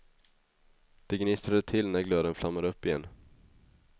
Det gnistrade till när glöden flammade upp igen.